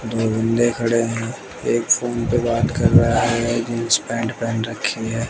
दो बंदे खड़े है एक फोन पे बात कर रहा है। जींस पैंट पेहेन रखी है।